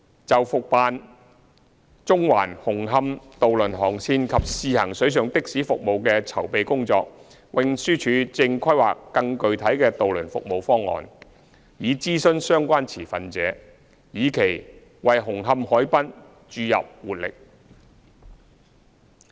就復辦中環―紅磡渡輪航線及試行水上的士服務的籌備工作，運輸署正規劃更具體的渡輪服務方案以諮詢相關持份者，以期為紅磡海濱注入活力。